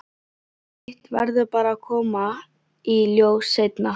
Hitt verður bara að koma í ljós seinna.